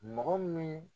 Mɔgɔ min